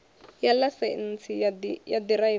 ya ḽaisentsi ya u ḓiraiva